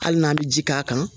Hali n'an bɛ ji k'a kan